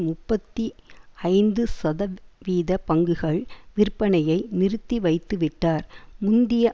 முப்பத்தி ஐந்து சத வீத பங்குகள் விற்பனையை நிறுத்தி வைத்துவிட்டார் முந்திய